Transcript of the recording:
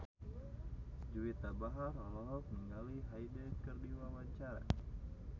Juwita Bahar olohok ningali Hyde keur diwawancara